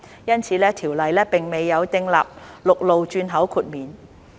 因此，條例並未有訂立陸路轉口豁免。